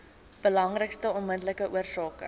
belangrikste onmiddellike oorsake